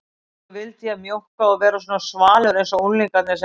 Svo vildi ég mjókka og vera svona svalur einsog unglingarnir sem